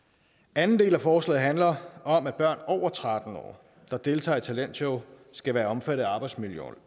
anden del af forslaget handler om at børn over tretten år der deltager i talentshows skal være omfattet af arbejdsmiljøloven